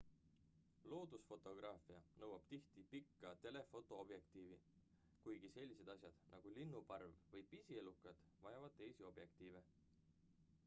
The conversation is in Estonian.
loodusfotograafia nõuab tihti pikka telefoto objektiivi kuigi sellised asjad nagu linnuparv või pisielukad vajavad teisi objektiive